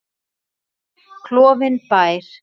Klofinn bær.